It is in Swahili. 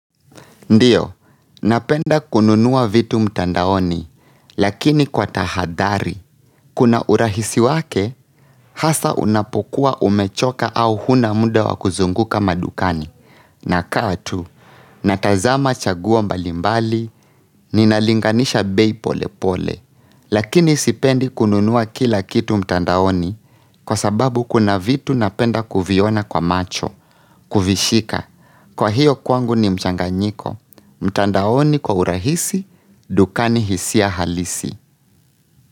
Ndio, napenda kununua vitu mtandaoni, lakini kwa tahadhari. Kuna urahisi wake, hasa unapokuwa umechoka au hunamuda wakuzunguka madukani. Nakaa tu, natazama chaguo mbalimbali, ninalinganisha bei pole pole. Lakini sipendi kununuwa kila kitu mtandaoni, kwa sababu kuna vitu napenda kuviona kwa macho, kuvishika. Kwa hiyo kwangu ni mchanganyiko mtandaoni kwa urahisi dukani hisia halisi.